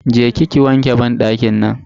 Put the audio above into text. Je ki ki wanke banɗakin nan.